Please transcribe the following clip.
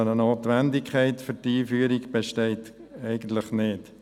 Eine Notwendigkeit für die Einführung besteht eigentlich nicht.